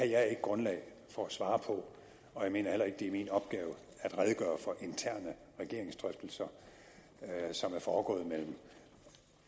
jeg ikke grundlag for at svare på og jeg mener heller ikke det er min opgave at redegøre for interne regeringsdrøftelser som er foregået mellem